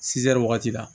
wagati la